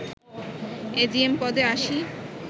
AGM পদে ৮০